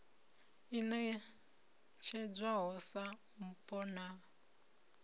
i ṋetshedzwaho sa mpho na